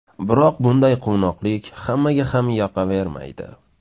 Biroq bunday quvnoqlik hammaga ham yoqavermaydi.